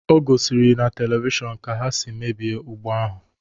O gỌ sịrị na televishọnu ka ha si mebie ugbo ahụ